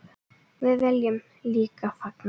Við viljum líka fagna.